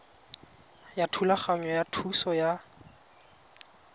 ya thulaganyo ya thuso ya